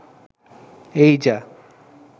এই যা